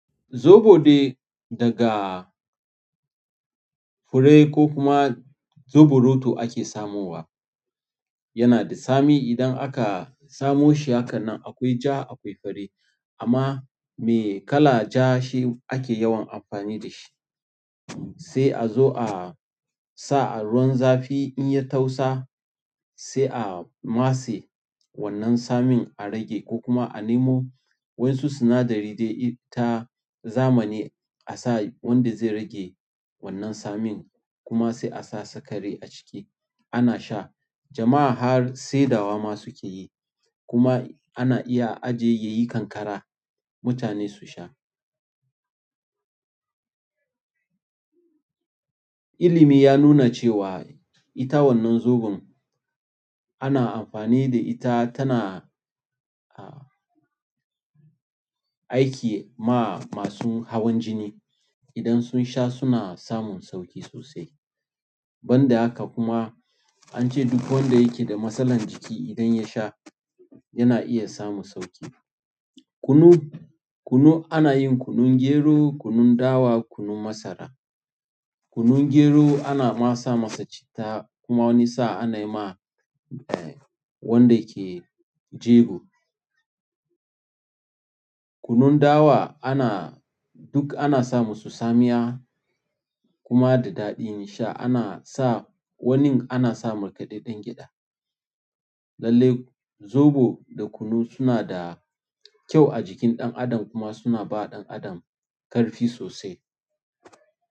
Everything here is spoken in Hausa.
Zoɓo dai daga fure ko kuma zoɓoroto ake samowa. Yana da tsami idan aka samo shi hakanan akwai ja akwai fari amma me kala ja shi ake yawan amfani da shi. Sai a zo a sa a ruwan zafi in ya tausa sai a matse wannan tsamin a rage ko kuma a nemo wa'yansu sinadari dai ta zamani a sa wanda zai rage wannan tsamin kuma sai a sa sikari a ciki ana sha. Jama'a har saidawa ma suke yi kuma ana iya aje yayi ƙanƙara mutane su sha. Ilimi ya nuna cewa ita wannan zoɓon ana amfani da ita tana aiki ma masu hawan jini idan sun sha suna samun sauƙi sosai. Banda haka kuma an ce duk wanda yake da matsalar jiki idan ya sha yana iya samun sauƙi. Kunu, kunu ana yin kunun gero, kunun dawa, kunun masara. Kunun gero ana ma sa masa citta kuma wani sa'a ana yi ma wanda ke jego. Kunun dawa ana duk ana sa musu tsamiya kuma da daɗin sha ana sa wanin ana sa markaɗaɗɗen gyaɗa. Lallai zoɓo da kunu suna da kyau a jikin ɗan adam kuma suna ba ɗan adam ƙarfi sosai.